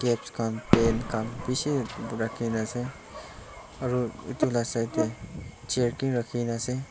caps khan pen khan bishi rakhina ase aru edu la side tae chair ki rakhina ase.